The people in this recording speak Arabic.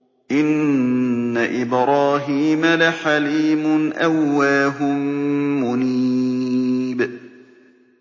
إِنَّ إِبْرَاهِيمَ لَحَلِيمٌ أَوَّاهٌ مُّنِيبٌ